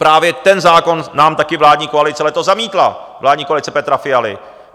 Právě ten zákon nám taky vládní koalice letos zamítla, vládní koalice Petra Fialy.